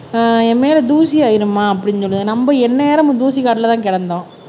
ஆஹ் என் மேல தூசி ஆயிரும்மா அப்படின்னு சொல்லுது நம்ம எந்நேரமும் தூசி காடுலதான் கிடந்தோம்